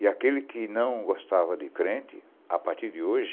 E aquele que não gostava de crente, a partir de hoje,